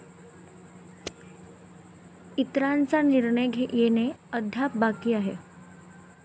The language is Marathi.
इतरांचा निर्णय येणे अद्याप बाकी आहे.